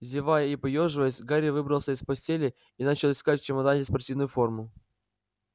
зевая и поёживаясь гарри выбрался из постели и начал искать в чемодане спортивную форму